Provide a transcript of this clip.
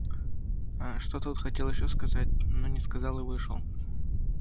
а что-то он хотел ещё сказать но не сказал и вышел